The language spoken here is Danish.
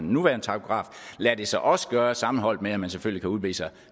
nuværende takograf lader det sig også gøre sammenholdt med at man selvfølgelig kan vise